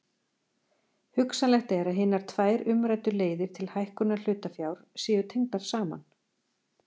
Hugsanlegt er að hinar tvær umræddu leiðir til hækkunar hlutafjár séu tengdar saman.